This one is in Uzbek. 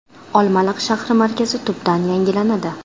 Olmaliq shahri markazi tubdan yangilanadi.